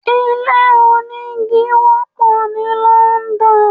Ilé onígi wọ́pọ̀ ní London.